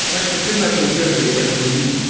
так-то ты начал первый ебать грубить